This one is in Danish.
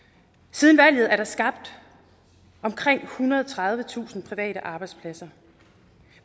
siden valget er der skabt omkring ethundrede og tredivetusind private arbejdspladser